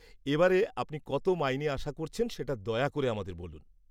-এবারে, আপনি কত মাইনে আশা করছেন সেটা দয়া করে আমাদের বলুন।